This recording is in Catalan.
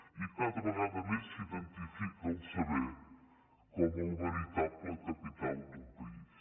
i cada vegada més s’identifica el saber com el veritable capital d’un país